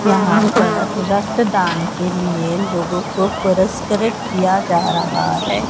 रक्तदान के लिए लोगों को पुरस्कृत किया जा रहा है।